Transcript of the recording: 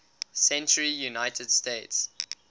century united states